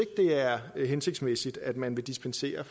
det er hensigtsmæssigt at man vil dispensere